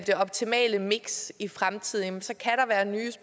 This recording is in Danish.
det optimale miks i fremtiden så